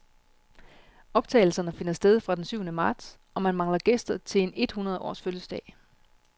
Optagelserne finder sted fra den syvende marts, og man mangler gæster til en et hundrede års fødselsdag.